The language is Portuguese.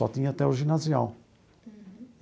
Só tinha até o ginasial.